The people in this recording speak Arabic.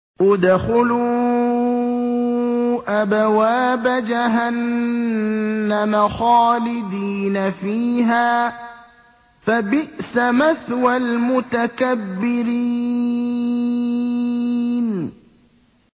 ادْخُلُوا أَبْوَابَ جَهَنَّمَ خَالِدِينَ فِيهَا ۖ فَبِئْسَ مَثْوَى الْمُتَكَبِّرِينَ